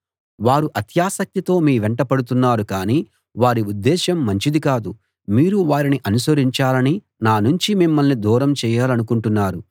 వారు అత్యాసక్తితో మీ వెంట పడుతున్నారు కానీ వారి ఉద్దేశం మంచిది కాదు మీరు వారిని అనుసరించాలని నా నుంచి మిమ్మల్ని దూరం చేయాలనుకుంటున్నారు